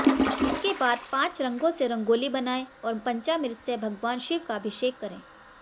इसके बाद पांच रंगों से रंगोली बनाए और पंचामृत से भगवान शिव का अभिषेक करें